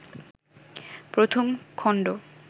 প্রথম খণ্ড